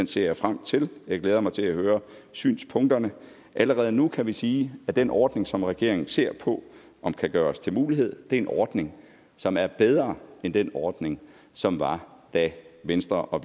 ser jeg frem til jeg glæder mig til at høre synspunkterne allerede nu kan vi sige at den ordning som regeringen ser på om kan gøres til mulighed er en ordning som er bedre end den ordning som var da venstre og